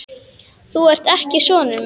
Þú ert ekki sonur minn.